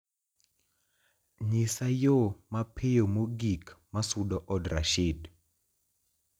nyisa yo mapiyo mogik ma sugo od rashid